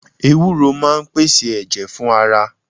Ewúró máa ń pèsè ẹ̀jẹ̀ fún ara